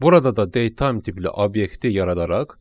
Burada da date time tipli obyekti yaradaraq